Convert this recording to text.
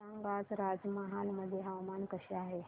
सांगा आज पंचमहाल मध्ये हवामान कसे आहे